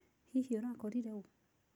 Hihi ũrakorire ũũ?